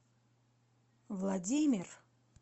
владимир